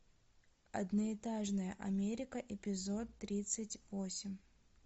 одноэтажная америка эпизод тридцать восемь